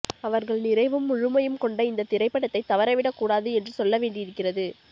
அவர்கள் நிறைவும் முழுமையும் கொண்ட இந்தத் திரைப்படத்தைத் தவறவிடக்கூடாது என்று சொல்லவேண்டியிருக்கிறது